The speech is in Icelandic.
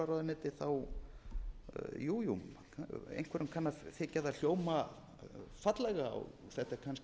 mannréttindaráðuneytið jú jú einhverjum kann að þykja það hljóma fallega og þetta